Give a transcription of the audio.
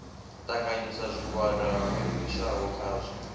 ṱanganyisa zwigwada ho livhiswaho khazwo